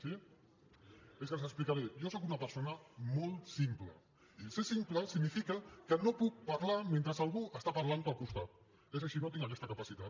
sí és que els ho explicaré jo sóc una persona molt simple i ser simple significa que no puc parlar mentre algú està parlant al costat és així no tinc aquesta capacitat